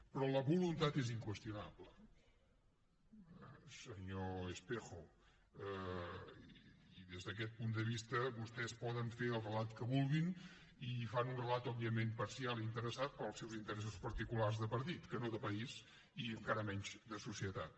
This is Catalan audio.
però la voluntat és inqüestionable senyor espejo i des d’aquest punt de vista vostès poden fer el relat que vulguin i en fan un relat òbviament parcial i interessat per als seus interessos particulars de partit que no de país i encara menys de societat